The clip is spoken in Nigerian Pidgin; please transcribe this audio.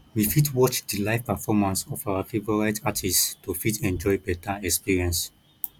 we fit watch di live performance of our favourite artist to fit enjoy better experience